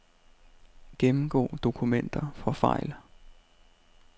Gennemgå dokumenter for fejl.